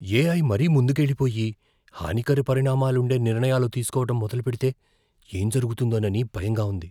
AI మరీ ముందుకెళ్ళిపోయి, హానికర పరిణామాలుండే నిర్ణయాలు తీసుకోవడం మొదలుపెడితే ఏం జరుగుతుందోనని భయంగా ఉంది.